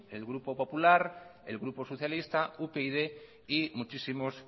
el grupo popular el grupo socialista upyd y muchísimos